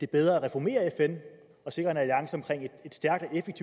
bedre at reformere fn og sikre